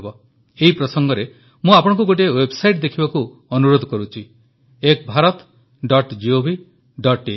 ଏହି ପ୍ରସଙ୍ଗରେ ମୁଁ ଆପଣ ସମସ୍ତଙ୍କୁ ଗୋଟିଏ ୱେବସାଇଟ୍ ଦେଖିବାକୁ ଅନୁରୋଧ କରୁଛି ekbharatgovଆଇଏନ Ek Bharat dot gov dot in